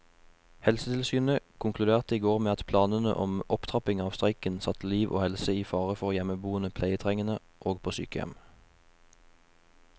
Helsetilsynet konkluderte i går med at planene om opptrapping av streiken satte liv og helse i fare for hjemmeboende pleietrengende og på sykehjem.